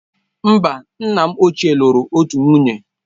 Mba, nna m ochie lụrụ otu nwunye.